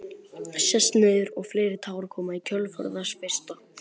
Sest niður og fleiri tár koma í kjölfar þess fyrsta.